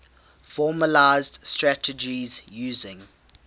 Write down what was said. formalised strategies using